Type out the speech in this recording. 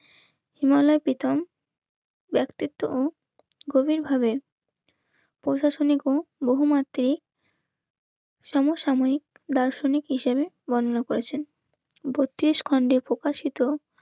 হিমালয় প্রীতম. ব্যাক্তিত্ব গভীরভাবে প্রশাসনিক হোক বহুমাত্রি সমসাময়িক দার্শনিক হিসেবে বর্ণনা করেছেন. বত্রিশ খন্ডে প্রকাশিত